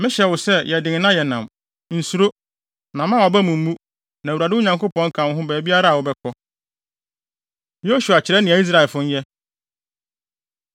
Mehyɛ wo sɛ, yɛ den na yɛ nnam! Nsuro, na mma wʼaba mu mmu, na Awurade wo Nyankopɔn ka wo ho baabiara a wobɛkɔ.” Yosua Kyerɛ Nea Israelfo Nyɛ